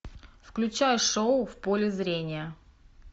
включай шоу в поле зрения